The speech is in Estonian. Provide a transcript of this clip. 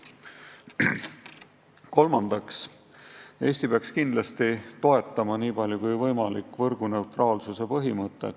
Kolmandaks, Eesti peaks kindlasti toetama nii palju kui võimalik võrguneutraalsuse põhimõtet.